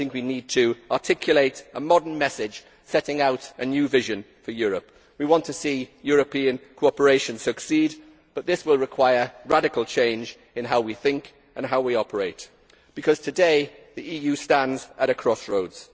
I think we need to articulate a modern message setting out a new vision for Europe. We want to see European cooperation succeed, but this will require radical change in how we think and how we operate, because today the EU stands at a crossroads.